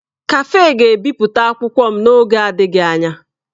Kafe ga-ebipụta akwụkwọ m n'oge adịghị anya.